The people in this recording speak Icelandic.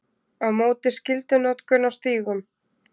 Á móti skyldunotkun á stígum